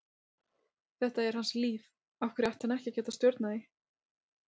Þetta er hans líf, af hverju ætti hann ekki að geta stjórnað því?